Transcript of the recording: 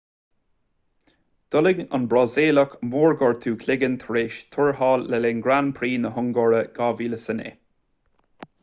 d'fhulaing an brasaíleach mórghortú cloiginn tar éis tuairteáil le linn grand prix na hungáire 2009